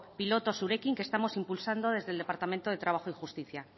piloto zurekin que estamos impulsando desde el departamento de trabajo y justicia